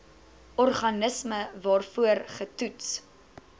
organisme waarvoor getoets